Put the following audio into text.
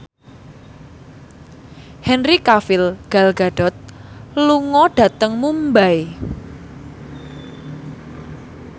Henry Cavill Gal Gadot lunga dhateng Mumbai